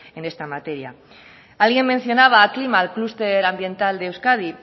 en esta materia alguien mencionaba aclima el clúster ambiental de euskadi